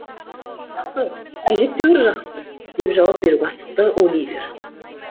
жақсы әжептәуір жақсы деп жауап беруге асықты оливер